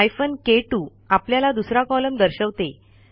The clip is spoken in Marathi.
हायफेन के2 आपल्याला दुसरा कॉलम दर्शवते